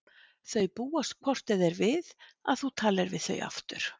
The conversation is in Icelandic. Þau búast hvort eð er við að þú talir við þau aftur.